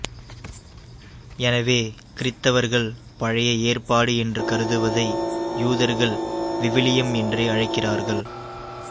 எனவே கிறித்தவர்கள் பழைய ஏற்பாடு என்று கருதுவதை யூதர்கள் விவிலியம் என்றே அழைக்கிறார்கள்